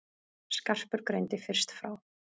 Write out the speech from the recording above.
Skarpur greindi fyrst frá.